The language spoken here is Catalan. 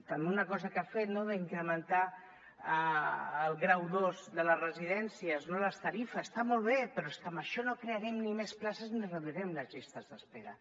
també una cosa que ha fet no d’incrementar el grau ii de les residències les tarifes està molt bé però amb això ni crearem més places ni reduirem les llistes d’espera